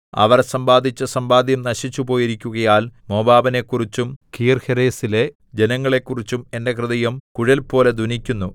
അവർ സമ്പാദിച്ച സമ്പാദ്യം നശിച്ചുപോയിരിക്കുകയാൽ മോവാബിനെക്കുറിച്ചും കീർഹേരെസിലെ ജനങ്ങളെക്കുറിച്ചും എന്റെ ഹൃദയം കുഴൽപോലെ ധ്വനിക്കുന്നു